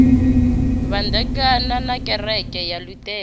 vhandekana na kereke ya luṱere